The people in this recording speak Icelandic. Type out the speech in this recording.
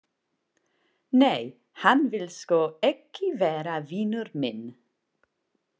Nei, hann vill sko ekki vera vinur minn.